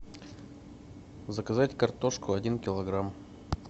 заказать картошку один килограмм